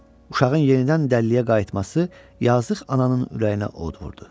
Uşağın yenidən dəlliyə qayıtması yazıq ananın ürəyinə od vurdu.